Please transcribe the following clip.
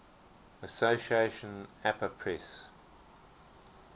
association apa press